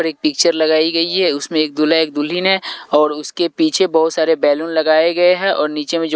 एक पिक्चर लगाई गई है उसमें एक दुल्हा एक दुल्हन है और उसके पीछे बहुत सारे बैलून लगाए गए हैं और नीचे में जो--